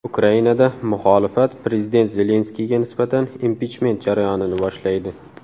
Ukrainada muxolifat prezident Zelenskiyga nisbatan impichment jarayonini boshlaydi.